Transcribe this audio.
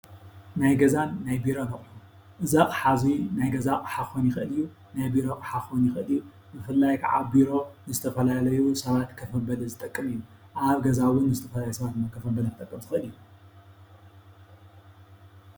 ናይ ገዛን ናይ ቢሮን ኣቑሑ-እዚ ኣቕሓ እዚ ናይ ገዛ ኣቕሓ ክኾን ይኽእል እዩ፤ ናይ ቢሮ ኣቕሓ ክኾን ይኽእል እዩ፡፡ ብፍላይ ከዓ ቢሮ ንዝተፈላለዩ ሰባት ኮፍ መበሊ ዝጠቅም እዩ፡፡ ኣብ ገዛ እውን ንዝተፈላለዩ ሰባት ኮፍ መበሊ ክጠቅም ዝኽእል እዩ፡፡